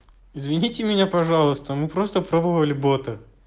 извините меня пожалуйста мы просто пробовали бота